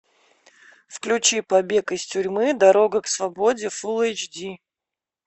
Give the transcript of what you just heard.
включи побег из тюрьмы дорога к свободе фул эйч ди